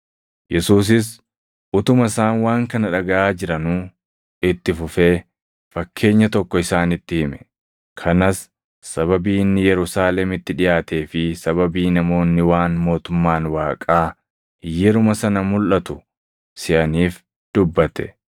Yesuusis utuma isaan waan kana dhagaʼaa jiranuu itti fufee, fakkeenya tokko isaanitti hime; kanas sababii inni Yerusaalemitti dhiʼaatee fi sababii namoonni waan mootummaan Waaqaa yeruma sana mulʼatu seʼaniif dubbate.